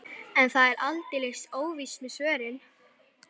En það er aldeilis óvíst með svörin.